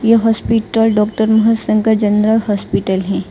यह hospital doctor Mahashankar general hospital है।